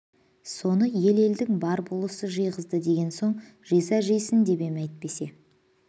соны ел-елдің бар болысы жиғызады деген соң жиса жисын деп ем әйтпесе